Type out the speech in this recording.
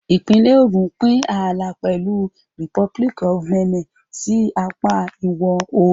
Ìpínlẹ̀ Ògùn ń pín ààlà pẹ̀lú Republic of Benin sí apá ìwọ̀-oòrùn.